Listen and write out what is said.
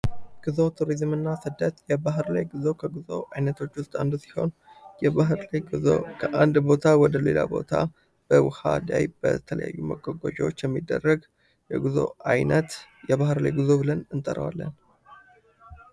ጉዞ ቱሪዝምና ስደት የባር ላይ ጉዞ ከጉዞ አይነቶች ውስጥ አንዱ ሲሆን የባር ላይ ጉዞ ከአንድ ቦታ ወሌላ ቦታ በውሃ ዳይቭ በተለያዩ ነገሮች የሚደረግ የጉዞ ዓይነት የባህር ላይ ጉዞ ብለን እንጠራለን።